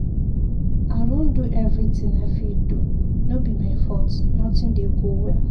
I don do everything I fit do, no be my fault nothing dey go well.